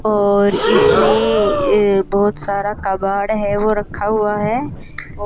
और इसमें ये बहुत सारा कबाड़ है वो रखा हुआ है।